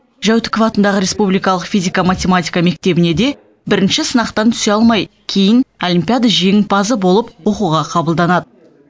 жәутіков атындағы республикалық физика математика мектебіне де бірінші сынақтан түсе алмай кейін олимпиада жеңімпазы болып оқуға қабылданады